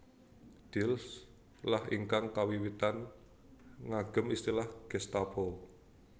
Diels lah ingkang kawiwitan ngagem istilah Gestapo